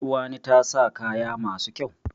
Uwani ta sa kaya masu kyau.